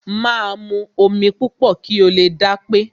Máa mu omi púpọ̀ kí o lè dápé.